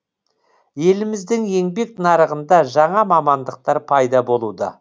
еліміздің еңбек нарығында жаңа мамандықтар пайда болуда